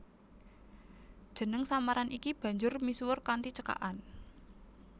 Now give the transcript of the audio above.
Jeneng samaran iki banjur misuwur kanthi cekakan